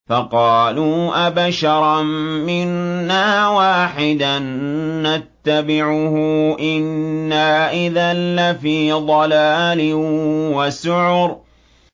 فَقَالُوا أَبَشَرًا مِّنَّا وَاحِدًا نَّتَّبِعُهُ إِنَّا إِذًا لَّفِي ضَلَالٍ وَسُعُرٍ